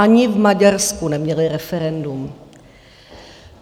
Ani v Maďarsku neměly referendum.